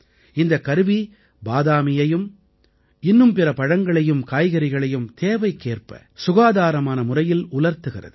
இந்தக் கருவி பாதாமியையும் இன்னும் பிற பழங்களையும் காய்கறிகளையும் தேவைக்கேற்ப சுகாதாரமான முறையில் உலர்த்துகிறது